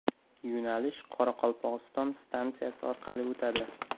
Yo‘nalish Qoraqalpog‘iston stansiyasi orqali o‘tadi.